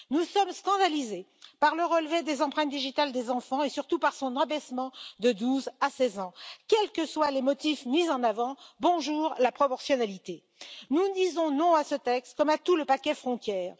Nous sommes scandalisés par le relevé des empreintes digitales des enfants et surtout par son abaissement de 12 à 6 ans, quels que soient les motifs mis en avant. Bonjour la proportionnalité! Nous disons non à ce texte, comme à tout le paquet Frontières.